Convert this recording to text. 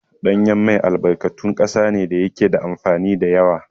Ɗanyen mai albarkatun ƙasa ne da yake da amfani da yawa.